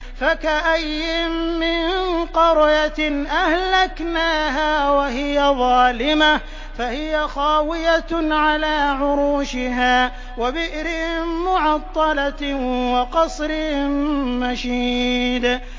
فَكَأَيِّن مِّن قَرْيَةٍ أَهْلَكْنَاهَا وَهِيَ ظَالِمَةٌ فَهِيَ خَاوِيَةٌ عَلَىٰ عُرُوشِهَا وَبِئْرٍ مُّعَطَّلَةٍ وَقَصْرٍ مَّشِيدٍ